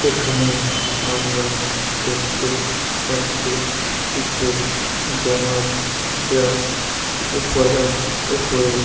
এখানে আমরা দেখতে পাচ্ছি কিছু জানোয়ার যা উপরা উপরে--